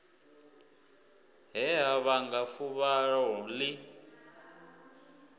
he ha vhanga fuvhalo ḽi